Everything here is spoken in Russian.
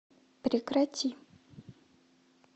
прекрати